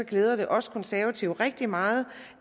glæder det os konservative rigtig meget